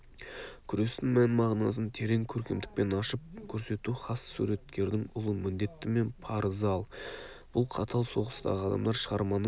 күрестің мән-мағынасын терең көркемдікпен ашып көрсету хас суреткердің ұлы міндеті мен парызы ал бұл қатал соғыстағы адамдар шығарманың